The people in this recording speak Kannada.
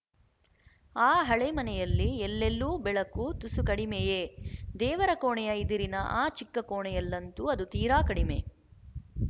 ಆ ಹಳೆ ಮನೆಯಲ್ಲಿ ಎಲ್ಲೆಲ್ಲೂ ಬೆಳಕು ತುಸು ಕಡಿಮೆಯೇ ದೇವರ ಕೋಣೆಯ ಇದಿರಿನ ಆ ಚಿಕ್ಕ ಕೋಣೆಯಲ್ಲಂತೂ ಅದು ತೀರ ಕಡಿಮೆ